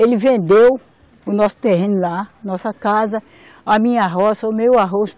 Ele vendeu o nosso terreno lá, nossa casa, a minha roça, o meu arroz.